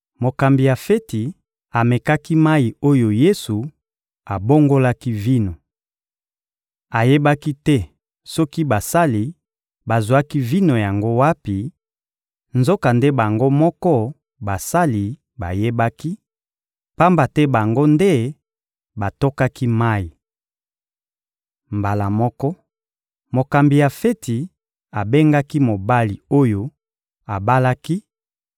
Mokambi ya feti amekaki mayi oyo Yesu abongolaki vino. Ayebaki te soki basali bazwaki vino yango wapi; nzokande bango moko basali bayebaki, pamba te bango nde batokaki mayi. Mbala moko, mokambi ya feti abengaki mobali oyo abalaki